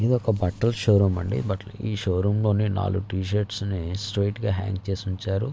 ఇదొక బట్టల show room అండి బట్టల ఈ షో రూమ్ లోని నాలుగు టీ-షీర్ట్స్ నీ స్ట్రెయిట్ గా హ్యాంగ్ చేసి ఉంచారు.